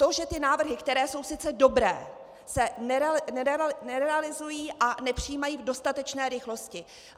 To, že ty návrhy, které jsou sice dobré, se nerealizují a nepřijímají v dostatečné rychlosti.